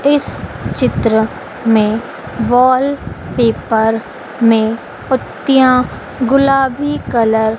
इस चित्र में वॉलपेपर में पतियाँ गुलाबी कलर --